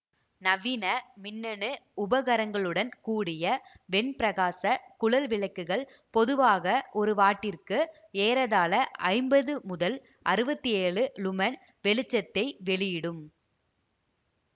நவீன மின்னணு உபகரணங்களுடன் கூடிய வெண்பிரகாச குழல்விளக்குகள் பொதுவாக ஒரு வாட்டிற்கு ஏறத்தாழ ஐம்பது முதல் அறுவத்தி ஏழு லூமென் வெளிச்சத்தை வெளியிடும்